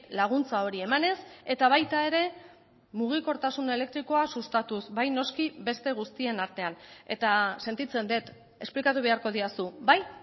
laguntza hori emanez eta baita ere mugikortasun elektrikoa sustatuz bai noski beste guztien artean eta sentitzen dut esplikatu beharko didazu bai